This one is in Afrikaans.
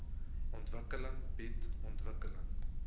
ontwikkeling bied ontwikkeling